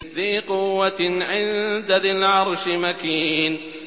ذِي قُوَّةٍ عِندَ ذِي الْعَرْشِ مَكِينٍ